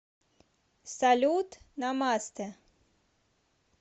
салют намастэ